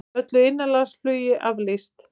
Öllu innanlandsflugi aflýst